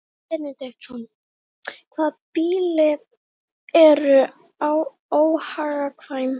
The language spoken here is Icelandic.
Haraldur Benediktsson: Hvaða býli eru óhagkvæm?